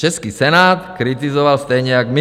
Český Senát kritizoval stejně jak my.